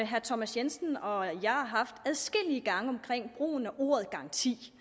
herre thomas jensen og jeg har haft adskillige gange omkring brugen af ordet garanti